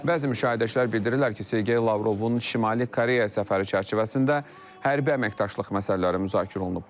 Bəzi müşahidəçilər bildirirlər ki, Sergey Lavrovun Şimali Koreya səfəri çərçivəsində hərbi əməkdaşlıq məsələləri müzakirə olunub.